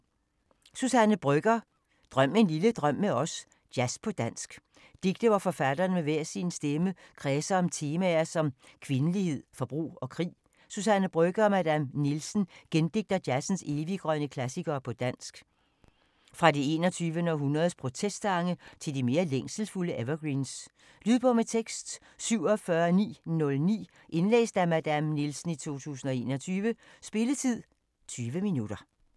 Brøgger, Suzanne: Drøm en lille drøm med os: jazz på dansk Digte hvor forfatterne med hver sin stemme kredser om temaer så som kvindelighed, forbrug og krig Suzanne Brøgger & Madame Nielsen gendigter jazzens eviggrønne klassikere på dansk. Fra det 21. århundredes protestsange til de mere længselsfulde evergreens. Lydbog med tekst 47909 Indlæst af Madame Nielsen, 2021. Spilletid: 0 timer, 20 minutter.